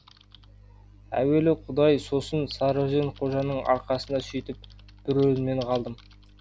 әуелі құдай сосын сарөзен қожаның арқасында сөйтіп бір өлімнен қалдым